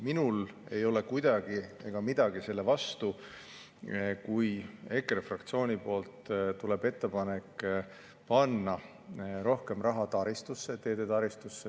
Minul ei ole midagi selle vastu, kui EKRE fraktsioonilt tuleb ettepanek panna rohkem raha teede taristusse.